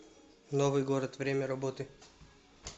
новый город время работы